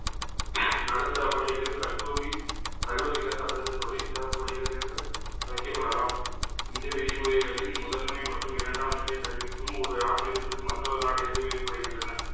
நடுத்தரப் பள்ளிகள், கட்டோவி~ கல்லூரிகள் அல்லது தொழிற்சார்ப் பள்ளிகள் என்று அழைக்கப்படலாம். இந்த விதிமுறைகளின் முதன்மை மற்றும் இரண்டாம் நிலைக் கல்விக்கும் ஒரு நாட்டிலிருந்து மற்றொரு நாட்டிற்கு வேறுபடுகின்றன